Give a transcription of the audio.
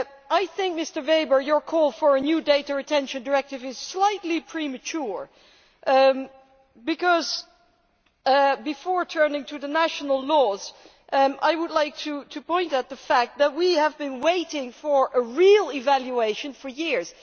I think, Mr Weber, your call for a new data retention directive is slightly premature because, before turning to the national laws, I would like to point out the fact that we have been waiting for a real evaluation for years.